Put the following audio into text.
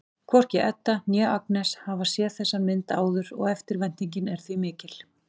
Hvorki Edda né Agnes hafa séð þessa mynd áður og eftirvæntingin er því mikill.